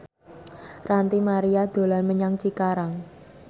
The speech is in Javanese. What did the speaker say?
Ranty Maria dolan menyang Cikarang